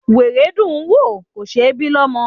Wèrè dùn ún wò, kò ṣe ẹ́ bí lọ́mọ.